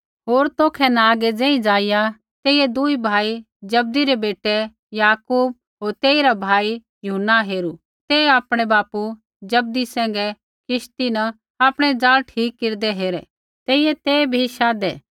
होर तौखै न आगै ज़ेही ज़ाइआ तेइयै दूई भाई जब्दी रै बेटै याकूब होर तेइरा भाई यूहन्ना हेरू ते आपणै बापू जब्दी सैंघै किश्ती न आपणै ज़ाल ठीक केरदै हेरै तेइयै ते भी शाधै